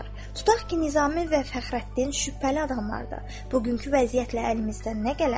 Tutaq ki, Nizami və Fəxrəddin şübhəli adamlardır, bugünkü vəziyyətlə əlimizdən nə gələr?